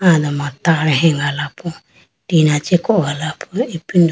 alama tar hegalapo tina chee kogalapo ipindo.